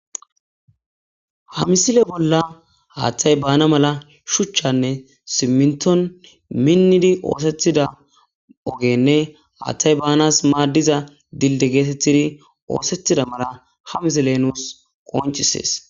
Ha misile bolla haaththay baana mala shuchchanne simminton minnidi oosethida ogenne haaththay baanas maaddiza dilde geetettidi oosetida mala ha misile nuus qonchisees.